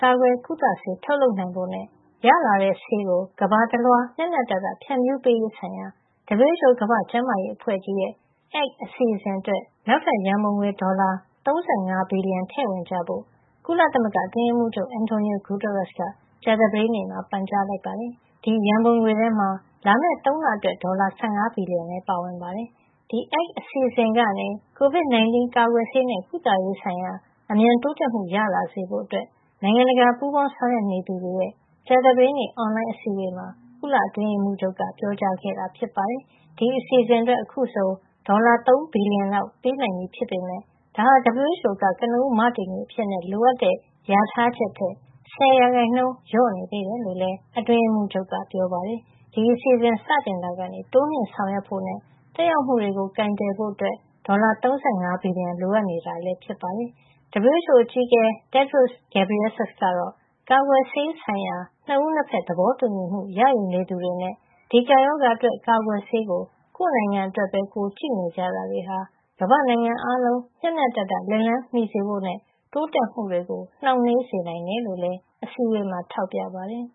ကာကွယ် ကုသဆေး ထုတ်လုပ်နိုင်ဖို့နဲ့ ရလာတဲ့ဆေးကို ကမ္ဘာတလွှား မ ျှမ ျှတတ ဖြန့်ဖြူးပေး ရေးဆိုင်ရာ WHO ကမ္ဘာ့ကျန်းမာရေးအဖွဲ့ကြီးရဲ့ ACT (Access to COVID-19 Tools) အစီအစဉ် အတွက် နောက်ထပ်ရန်ပုံငွေ ဒေါ်လာ ၃၅ ဘီလီယံ ထည့်ဝင်ကြဖို့ ကုလသမဂ္ဂ အတွင်းရေးမှုးချုပ် Antonio Guterres က ကြာသပတေးနေ့မှာ ပန်ကြားလိုက်ပါတယ်။ ဒီရန်ပုံငွေထဲမှာ လာမယ့် ၃ လ အတွက် ဒေါ်လာ ၁၅ ဘီလီယံ လည်းပါဝင်ပါတယ်။ ACT အစီအစဉ်ကနေ COVID-19 ကာကွယ်ဆေးနဲ့ ကုသရေးဆိုင်ရာ အမြန်တိုးတက်မှု ရလာစေဖို့ နိုင်ငံတကာ ပူးပေါင်းဆောင်ရွက်နေသူတွေရဲ့ ကြာသပတေးနေ့ အွန်လိုင်းအစည်းအဝေးမှာ ကုလအတွင်းရေးမှူးချုပ် က ပြောကြားခဲ့တာဖြစ်ပါတယ်။ ဒီအစီအစဉ် အတွက် အခုဆို ဒေါ်လာ ၃ ဘီလီယံလောက် ပေးနိုင်ပြီဖြစ်ပေမယ့် ဒါဟာ WHO က ကနဦး မတည်ငွေအဖြစ် လိုအပ်တဲ့ လျာထားချက်ထက် ၁၀ % လျော့နေသေးတယ်လို့လည်း အတွင်းရေးမှုးချုပ်က ပြောပါတယ်။ ဒီအစီအစဉ် စတင်တာကနေ တိုးမြှင့်ဆောင်ရွက်ဖို့နဲ့ သက်ရောက်မှုတွေကို ကိုင်တွယ်ဖို့ ဒေါ်လာ ၃၅ ဘီလျံ လိုအပ်နေတာ ဖြစ်ကြောင်းလည်း ပြောပါတယ်။ WHO အကြီးအကဲ Tedros Adhanom Ghebreyesus ကတော့ ကာကွယ်ဆေးဆိုင်ရာ ၂ ဦး ၂ ဘက် သဘောတူညီမှု ရယူနေသူတွေနဲ့ ဒီကပ်ရောဂါအတွက် ကာကွယ်ဆေးကို ကိုယ့်နိုင်ငံ အတွက်ပဲ ကြည့် နေကြတာတွေဟာ ကမ္ဘာ့နိုင်ငံအားလုံး မ ျှမ ျှတတ လက်လှမ်းမီစေဖို့နဲ့ တိုးတက်မှုတွေကို နှောင့်နှေးစေ နိုင်တယ် လို့လည်း အစည်းအဝေးမှာ ထောက်ပြပါတယ်